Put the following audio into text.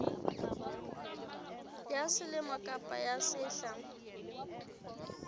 ya selemo kapa ya sehla